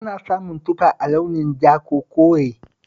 Ana samun tufa a launin ja ko kore